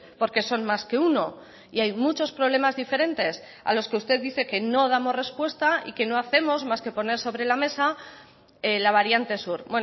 porque son más que uno y hay muchos problemas diferentes a los que usted dice que no damos respuesta y que no hacemos más que poner sobre la mesa la variante sur